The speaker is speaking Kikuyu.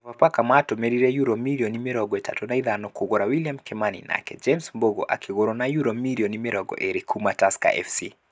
Sofapaka matũmĩrire yurũ mirioni mĩrongo ĩtatũ na ithano kũgura William Kĩmani, nake James Mbũgua akĩgũrwo na yurũ mirioni mĩrongo ĩrĩ kuma Tusker Fc .